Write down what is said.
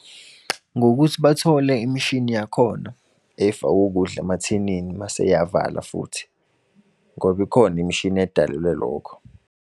Ngokuthi bathole imishini yakhona, efaka ukudla emathinini mase eyavalwa futhi. Ngoba ikhona imishini edalelwe lokho.